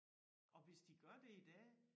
Og hvis de gør det i dag